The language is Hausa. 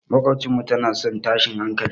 Maƙwabciyarmu tana son tashin hankali.